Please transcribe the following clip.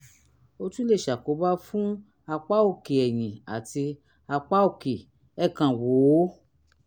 ó tún lè ṣàkóbá fún apá òkè ẹ̀yìn àti apá òkè; ẹ kàn wò ó